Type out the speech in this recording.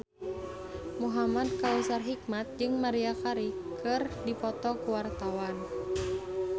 Muhamad Kautsar Hikmat jeung Maria Carey keur dipoto ku wartawan